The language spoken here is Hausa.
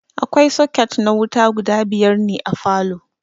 Akwai soket na wuta guda biyar ne a falow